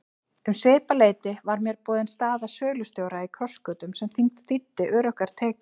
Um svipað leyti var mér boðin staða sölustjóra í Krossgötum sem þýddi öruggar tekjur.